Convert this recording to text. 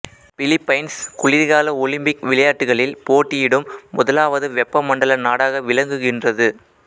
Philippines குளிர்கால Olympic விளையாட்டுக்களில் போட்டியிடும் முதலாவது வெப்பமண்டல நாடாக விளங்குகின்றது